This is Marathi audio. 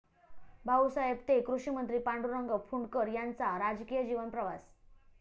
भाऊसाहेब ते कृषीमंत्री, पांडुरंग फुंडकर यांचा राजकीय जीवन प्रवास...